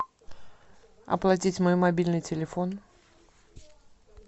оплатить мой мобильный телефон